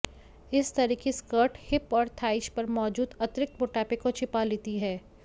इस तरह की स्कर्ट हिप और थाइज पर मौजूद अतिरिक्त मोटापे को छिपा लेती है